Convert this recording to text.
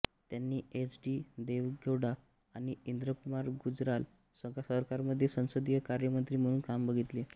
त्यांनी H D Deve Gowda आणि इंद्रकुमार गुजराल सरकारमध्ये संसदीय कार्यमंत्री म्हणून काम बघितले